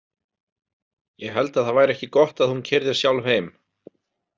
ég held að það væri ekki gott að hún keyrði sjálf heim.